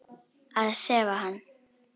Að sefa hann.